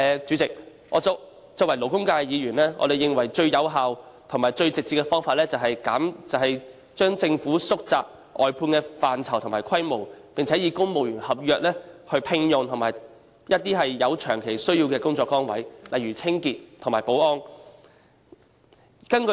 主席，作為勞工界的議員，我們認為最有效和最直接的方法是政府縮窄外判的範疇和規模，並以公務員合約條款聘用僱員擔任有長期需要的工作崗位，例如清潔和保安的工作。